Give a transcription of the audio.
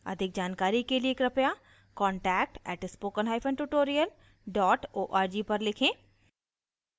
अधिक जानकारी के लिए कृपया contact @spokentutorial org पर लिखें